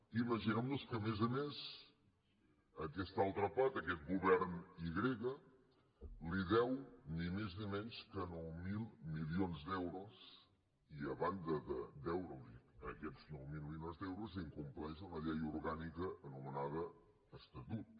imaginem nos que a més a més aquesta altra part aquest govern i grega li deu ni més ni menys que nou mil milions d’euros i a banda de deure li aquests nou mil milions d’euros incompleix una llei orgànica anomenada estatut